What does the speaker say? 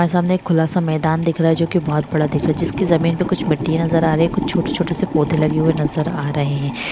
सामने खुला सा मैदान दिख रहा है जो की बहोत बड़ा जिसकी जमीन पे कुछ मिट्टी नजर आ रही है कुछ छोटे-छोटे से पौधे लगे हुए नजर आ रहे हैं।